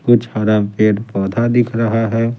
कुछ हरा पेड़ पौधा दिख रहा है।